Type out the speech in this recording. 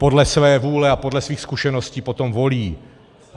Podle své vůle a podle svých zkušeností potom volí.